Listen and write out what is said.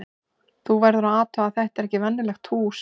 Þú verður að athuga að þetta er ekkert venjulegt hús.